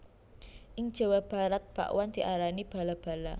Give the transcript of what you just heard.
Ing Jawa Barat bakwan diarani bala bala